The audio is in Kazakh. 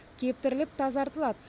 кептіріліп тазартылады